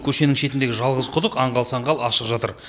көшенің шетіндегі жалғыз құдық аңғал саңғал ашық жатыр